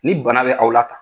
Ni bana bɛ aw la tan.